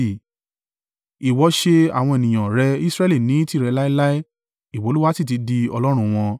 Ìwọ ṣe àwọn ènìyàn rẹ Israẹli ní tìrẹ láéláé ìwọ Olúwa sì ti di Ọlọ́run wọn.